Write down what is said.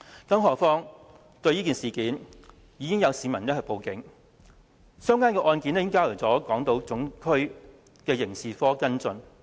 更何況，已有市民就這事件向警方報案，相關的案件已交由港島總區的刑事部跟進。